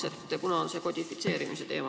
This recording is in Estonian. Siin on ju see kodifitseerimise teema.